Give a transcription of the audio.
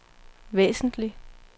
væsentlig